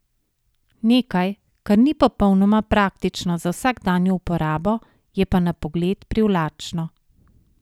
Nekaj, kar ni popolnoma praktično za vsakdanjo uporabo, je pa na pogled privlačno.